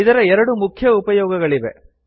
ಇದರ ಎರಡು ಮುಖ್ಯ ಉಪಯೋಗಗಳಿವೆ